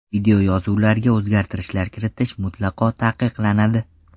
Videoyozuvlarga o‘zgartishlar kiritish mutlaqo taqiqlanadi.